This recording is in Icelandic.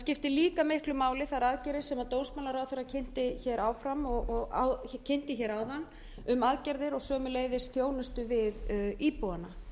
skipta líka miklu máli þær aðgerðir sem dómsmálaráðherra hér áðan um aðgerðir og sömuleiðis þjónsutu við íbúana